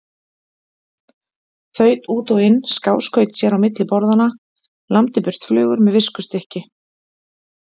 Þaut út og inn, skáskaut sér á milli borðanna, lamdi burt flugur með viskustykki.